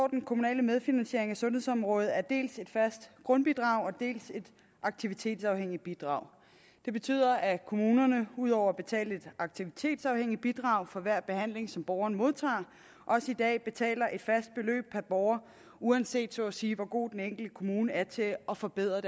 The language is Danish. den kommunale medfinansiering af sundhedsområdet af dels et fast grundbidrag dels et aktivitetsafhængigt bidrag det betyder at kommunerne ud over at betale et aktivitetsafhængigt bidrag for hver behandling som borgeren modtager også i dag betaler et fast beløb per borger uanset så at sige hvor god den enkelte kommune er til at forbedre